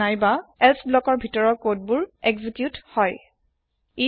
নাইবা এলছে ব্লকৰ ভিতৰৰ কোড বুৰ এক্সিকিওত হই